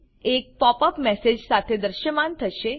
એક pop up message સાથે દ્રશ્યમાન થશે